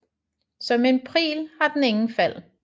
Som en Pril har den ingen fald